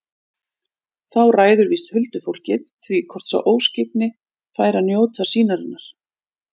Þá ræður víst huldufólkið því hvort sá óskyggni fær að njóta sýnarinnar.